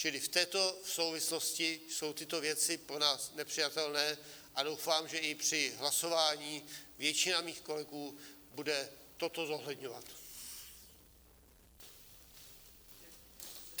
Čili v této souvislosti jsou tyto věci pro nás nepřijatelné a doufám, že i při hlasování většina mých kolegů bude toto zohledňovat.